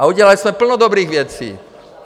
A udělali jsme plno dobrých věcí.